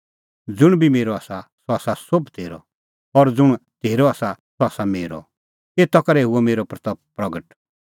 ज़ुंण बी मेरअ आसा सह आसा सोभ तेरअ और ज़ुंण तेरअ आसा सह आसा मेरअ एता करै हुई मेरी महिमां प्रगट